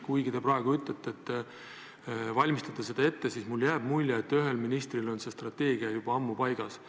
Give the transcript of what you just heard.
Kuigi te praegu ütlete, et te valmistate seda ette, jääb minule mulje, et ühel ministril on see strateegia juba ammu paigas.